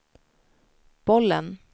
bollen